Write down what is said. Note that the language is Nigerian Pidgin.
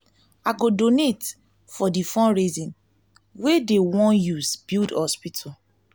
i go donate for di fundraising wey dey wan wey dey wan use build hospital.